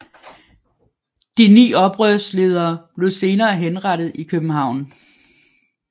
De ni oprørsledere blev senere henrettet i København